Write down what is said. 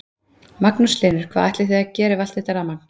Magnús Hlynur: Hvað ætlið þið að gera við allt þetta rafmagn?